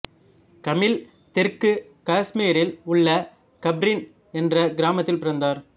கமில் தெற்கு காசுமீரில் உள்ள கப்ரின் என்ற கிராமத்தில் பிறந்தார்